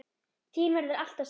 Þín verður alltaf saknað.